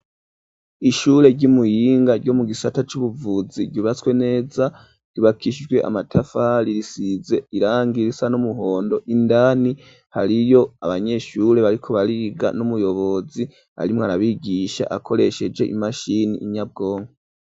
Ishure ry'Imuyinga ryo mu gisata c'ubuvuzi ryubatswe neza, ryubakishijwe amatafari risize irangi risa n'umuhondo ,indani hariyo abanyeshure bariko bariga, n'umuyobozi arimwo arabigisha akoresheje imashini nyabwongo.